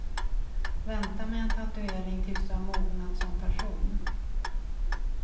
Vänta med en tatuering tills du har mognat som person.